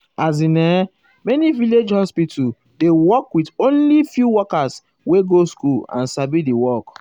as in[um]many village hospital dey work with only few workers wey go school and sabi di work.